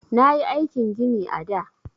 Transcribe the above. Nayi aikin gini a da.